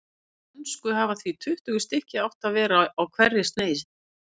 Í dönsku hafa því tuttugu stykki átt að vera á hverri sneis.